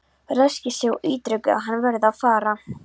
Ræskir sig og ítrekar að hann verði að fara.